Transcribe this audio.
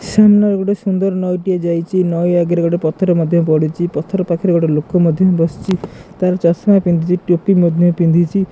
ସୁନ୍ ର ଗୋଟେ ସୁନ୍ଦର୍ ନଈ ଟିଏ ଯାଇଚି ନଈ ଆଗରେ ଗୋଟେ ପଥର ମଧ୍ୟ ପଡ଼ିଚି ପଥର ପାଖରେ ଗୋଟେ ଲୋକ ମଧ୍ୟ ବସିଚି ତାର ଚଷମା ପିନ୍ଧିଚି ଟୋପି ମଧ୍ୟ ପିନ୍ଧିଚି।